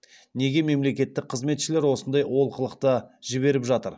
неге мемлекеттік қызметшілер осындай олқылықты жіберіп жатыр